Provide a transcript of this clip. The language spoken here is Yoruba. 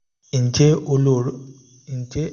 ǹjẹ́ o lè ronú nípa ohun tó fà á gan-an?